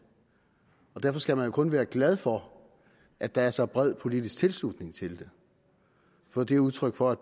derfor skal man jo kun være glad for at der er så bred politisk tilslutning til det for det er udtryk for at